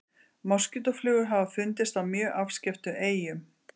Moskítóflugur hafa fundist á mjög afskekktum eyjum.